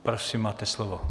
Prosím, máte slovo.